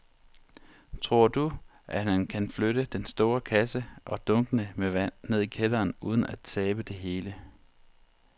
Tror du, at han kan flytte den store kasse og dunkene med vand ned i kælderen uden at tabe det hele?